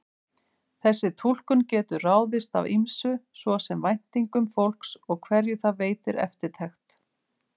Þessi túlkun getur ráðist af ýmsu, svo sem væntingum fólks og hverju það veitir eftirtekt.